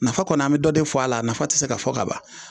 Nafa kɔni an bi dɔ de fɔ a la a nafa ti se ka fɔ ka ban